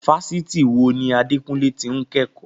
Fásitì wo ni Adekunle ti ń kẹ́kọ̀ọ́?